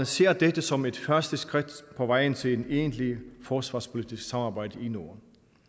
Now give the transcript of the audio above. ser det som et første skridt på vejen til et egentlig forsvarspolitisk samarbejde i norden